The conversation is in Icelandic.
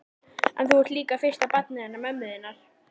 En þú ert líka fyrsta barnið hennar mömmu þinnar.